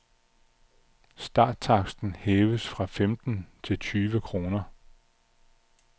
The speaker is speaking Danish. Starttaksten hæves fra femten til tyve kroner.